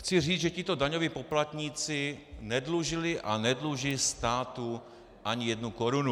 Chci říct, že tito daňoví poplatníci nedlužili a nedluží státu ani jednu korunu.